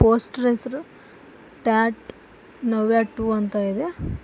Poster ಹೆಸ್ರು Tata Navya two ಅಂತ ಇದೆ.